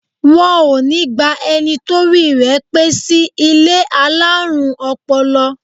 Wọn ó ní gba ẹni torí rẹ̀ pé sí ilé alárùn ọpọlọ